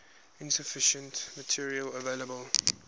insufficient material available